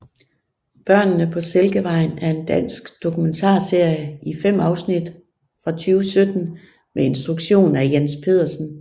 Børnene på Silkevejen er en dansk dokumentarserie i 5 afsnit fra 2017 med instruktion af Jens Pedersen